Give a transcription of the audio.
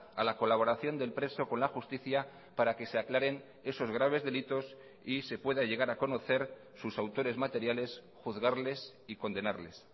a la colaboración del preso con la justicia para que se aclaren esos graves delitos y se pueda llegar a conocer sus autores materiales juzgarles y condenarles